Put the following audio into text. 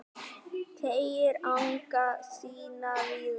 Teygir anga sína víða